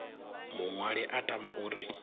muṅwali a tama u ri